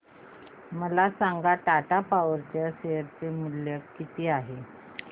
मला सांगा टाटा पॉवर चे शेअर मूल्य किती आहे